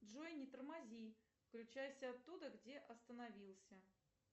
джой не тормози включайся оттуда где остановился